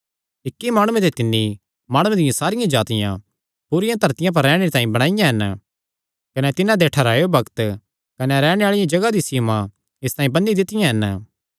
इक्की ई माणुये ते तिन्नी माणुआं दियां सारियां जातिआं पूरिया धरतिया पर रैहणे तांई बणाईयां हन कने तिन्हां दे ठैहरायो बग्त कने रैहणे आल़ी जगाह दी सीमां इसतांई बन्नी दित्तियां हन